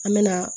An me na